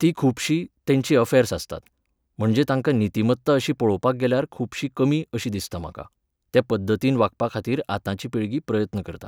तीं खूबशीं, तेंचीं अफॅर्स आसतात, म्हणजे तांकां नितिमत्ता अशी पळोवपाक गेल्यार खूबशी कमी अशी दिसता म्हाका. ते पद्दतीन वागपाखातीर आतांची पिळगी प्रयत्न करता.